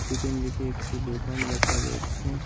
পিছনদিকে একটি দোকান দেখা যাচ্ছে।